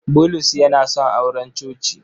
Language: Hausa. Bulus yana son auren coci.